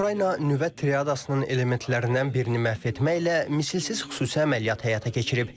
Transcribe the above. Ukrayna nüvə triadasının elementlərindən birini məhv etməklə misilsiz xüsusi əməliyyat həyata keçirib.